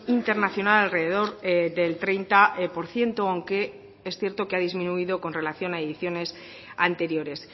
internacional alrededor del treinta por ciento aunque es cierto que ha disminuido con relación a ediciones anteriores